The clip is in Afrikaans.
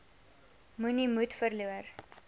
moenie moed verloor